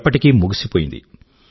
ఎప్పటికీ ముగిసిపోయింది